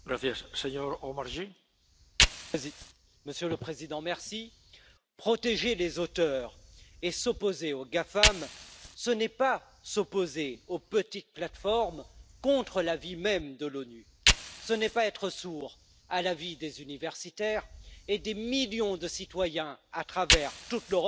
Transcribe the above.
Monsieur le Président, protéger les auteurs et s'opposer aux GAFAM, ce n'est pas s'opposer aux petites plateformes, contre l'avis même de l'ONU, ce n'est pas être sourd à la vie des universitaires et des millions de citoyens à travers toute l'Europe qui s'inquiètent pour la liberté de l'internet.